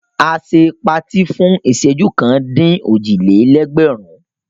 A ṣe patí fún ìṣẹ́jú kan-dín-òjì-lé-ẹgbẹ̀rún.